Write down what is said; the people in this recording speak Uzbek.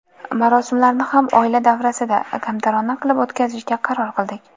Marosimlarni ham oila davrasida, kamtarona qilib o‘tkazishga qaror qildik.